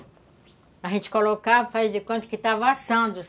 A gente colocava, faz de conta que estava assando.